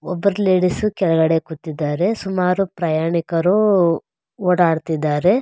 ಒಬ್ಬರ್ ladies ಕೆಳಗಡೆ ಕೂತಿದ್ದಾರೆ ಸುಮಾರು ಪ್ರಯಾಣಿಕರು ಓಡಾಡ್ ತ್ತಿದ್ದಾರೆ.